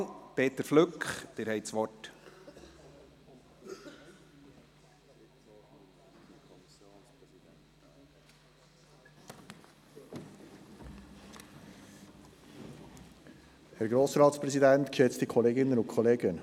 Um dieser Erklärung besonderen Nachdruck zu verleihen und ihre Dringlichkeit zu betonen, ruft der Grosse Rat – ausgehend vom Aufruf der «Klimastreik»-Bewegung und dem Beispiel anderer Kantone und Gemeinden folgend – den so genannten «Klimanotstand» aus.